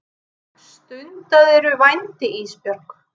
Stundaðirðu vændi Ísbjörg?